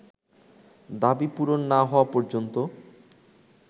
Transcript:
দাবি পূরণ না হওয়া পর্যন্ত